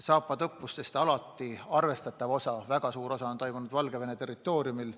Zapadi õppusest on alati arvestatav osa, väga suur osa toimunud Valgevene territooriumil.